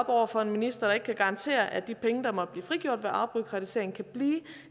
over for at ministeren ikke kan garantere at de penge der måtte blive frigjort ved afbureaukratisering kan blive